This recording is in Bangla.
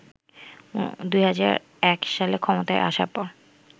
২০০১ সালে ক্ষমতায় আসার পর